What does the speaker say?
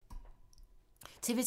TV 2